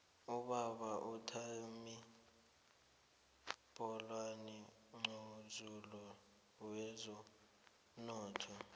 ubaba uthami bholana mqozululi wezomnotho